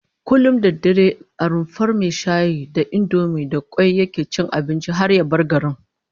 Kullum da dare a rumfar mai shayi da indomi da kwai yake cin abinci har ya bar garin